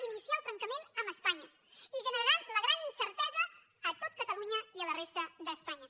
iniciar el trencament amb espanya i generaran la gran incertesa a tot catalunya i a la resta d’espanya